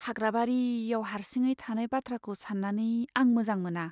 हाग्राबारियाव हारसिङै थानाय बाथ्राखौ सान्नानै आं मोजां मोना।